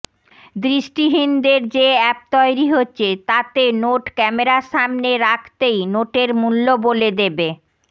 দৃষ্টিহীনদের যে অ্যাপ তৈরি হচ্ছে তাতে নোট ক্যামেরার সামনে রাখতেই নোটের মূল্য বলে দেবে